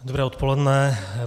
Dobré odpoledne.